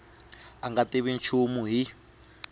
a nga tivi nchumu hi